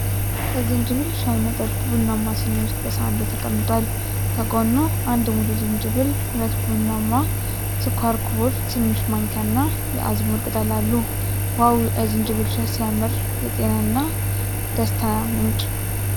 የ ዝንጅብል ሻይ መጠጥ ቡናማ ሲኒ ውስጥ በሳሃን ላይ ተቀምጧል። ከጎኑ አንድ ሙሉ ዝንጅብል፣ ሁለት ቡናማ ስኳር ኩቦች፣ ትንሽ ማንኪያና የአዝሙድ ቅጠል አሉ። "ዋው! የዝንጅብል ሻይ ሲያምር፣ የጤናና ደስታ ምንጭ!"